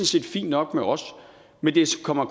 set fint nok med os men det kommer